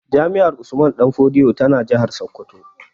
Jami'ar Usman danfodiyo tana a jihar Sokoto